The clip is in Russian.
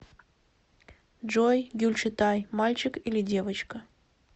джой гюльчатай мальчик или девочка